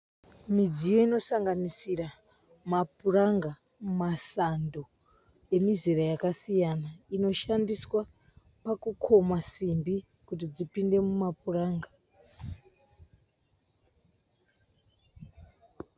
Midziyo inosanganisira mapuranga, masando emizera yakasiyana inoshandiswa pakukoma simbi kuti dzipinde mumapuranga.